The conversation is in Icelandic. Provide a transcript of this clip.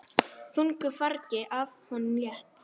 Þungu fargi af honum létt.